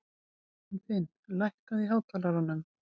Anfinn, lækkaðu í hátalaranum.